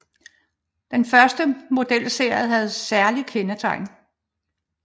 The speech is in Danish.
Den første modelserie havde særlige kendetegn